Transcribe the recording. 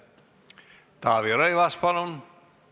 Taavi Rõivas, palun!